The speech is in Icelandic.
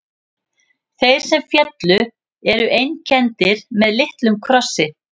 Þeir sem féllu eru einkenndir með litlum krossi.